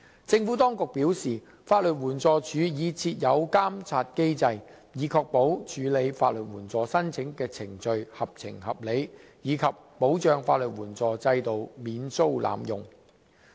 政府當局表示，法律援助署已設有監察機制，以確保處理法律援助申請的程序合情合理，以及保障法律援助制度免遭濫用。